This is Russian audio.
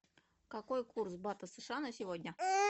какой курс бата сша на сегодня